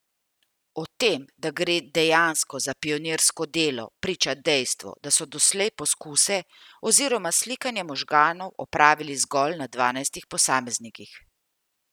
O tem, da gre dejansko za pionirsko delo, priča dejstvo, da so doslej poskuse oziroma slikanje možganov opravili zgolj na dvanajstih posameznikih.